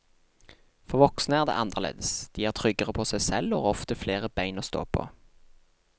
For voksne er det annerledes, de er tryggere på seg selv og har ofte flere ben å stå på.